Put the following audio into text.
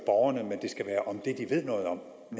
borgerne men det skal være om det de ved noget om